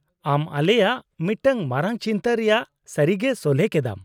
-ᱟᱢ ᱟᱞᱮᱭᱟᱜ ᱢᱤᱫᱴᱟᱝ ᱢᱟᱨᱟᱝ ᱪᱤᱱᱛᱟᱹ ᱨᱮᱭᱟᱜ ᱥᱟᱹᱨᱤᱜᱮ ᱥᱚᱞᱦᱮ ᱠᱮᱫᱟᱢ ᱾